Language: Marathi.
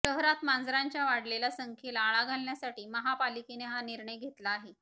शहरात मांजरांच्या वाढलेल्या संख्येला आळा घालण्यासाठी महापालिकेने हा निर्णय घेतला आहे